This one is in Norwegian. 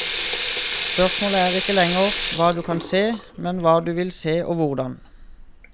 Spørsmålet er ikke lenger hva du kan se, men hva du vil se og hvordan.